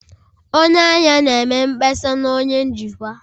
Onye ahịa na-eme mkpesa na onye njikwa